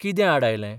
कितें आड आयलें?